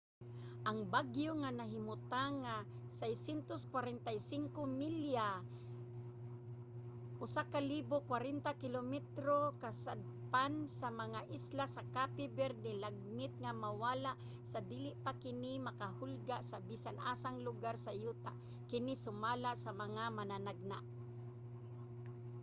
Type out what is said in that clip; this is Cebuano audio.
ang bagyo nga nahimutang mga 645 milya 1040 km kasadpan sa mga isla sa cape verde lagmit nga mawala sa dili pa kini makahulga sa bisan-asang lugar sa yuta kini sumala sa mga mananagna